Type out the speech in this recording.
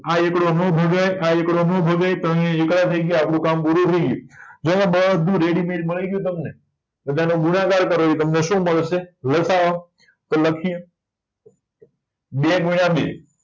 આ એકડો નો ભગાય આ એકડો નો ભગાય તો આયા એકડા થય ગયા આપડું કામ પૂરું થય ગયું જો બધુય રેડીમેટ મળી ગયું તમને બધાનો ગુણાકાર કરો તો ઇ તમને શું મળશે તો લખ્યે બે ગુણ્યા બે